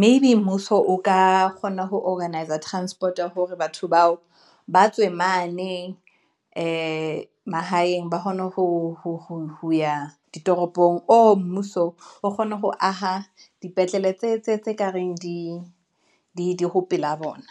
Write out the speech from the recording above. maybe mmuso o ka kgona ho Organizer Transport ya hore batho bao ba tswe mane ee, mahaeng ba kgone hoya ditoropong or mmuso o kgone ho aha dipetlele tse kareng di ho pela bona.